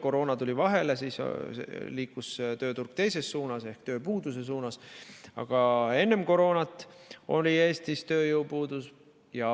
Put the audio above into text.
Koroona tuli vahele ja siis liikus tööturg teises suunas ehk tööpuuduse suunas, aga enne koroonat oli Eestis tööjõupuudus.